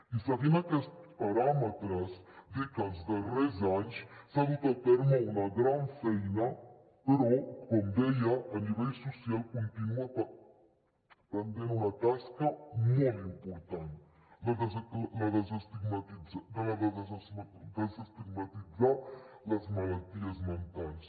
i seguint aquests paràmetres dir que els darrers anys s’ha dut a terme una gran feina però com deia a nivell social continua pendent una tasca molt important la de desestigmatitzar les malalties mentals